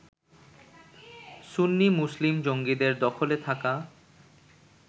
সুন্নি মুসলিম জঙ্গিদের দখলে থাকা